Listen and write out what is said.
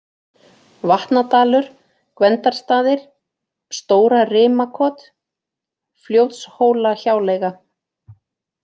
Vatnadalur, Gvendarstaðir, Stóra-Rimakot, Fljótshólahjáleiga